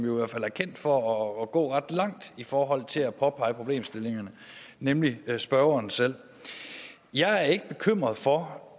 er kendt for at gå ret langt i forhold til at påpege problemstillingerne nemlig spørgeren selv jeg er ikke bekymret for